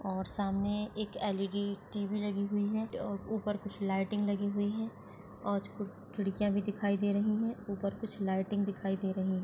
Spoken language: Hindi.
और सामने एक एल_डी टी_वी लगी हुई है और ऊपर कुछ लाइटिंग लगी हुई है और कुछ खिड़कियाँ भी दिखाई दे रही है ऊपर कुछ लाइटिंग दिखाई दे रही है।